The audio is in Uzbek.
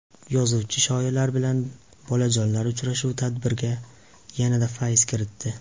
Yozuvchi-shoirlar bilan bolajonlar uchrashuvi tadbirga yanada fayz kiritdi.